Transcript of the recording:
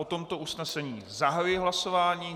O tomto usnesení zahajuji hlasování.